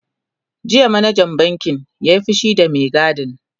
jiya manajan bankin ya Yi fushi da Mai gadin